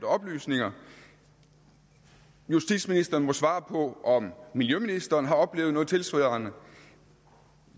oplysninger og justitsministeren må svare på om miljøministeren har oplevet noget tilsvarende